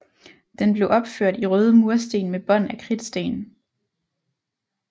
Den blev opført i røde mursten med bånd af kridtsten